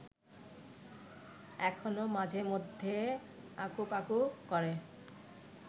এখনও মাঝে মধ্যে আকুপাকু করে